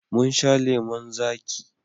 Mun sha lemon zaƙi.